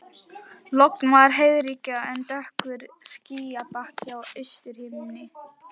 Logn var og heiðríkja en dökkur skýjabakki á austurhimni.